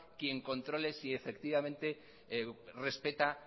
quien controle si efectivamente respeta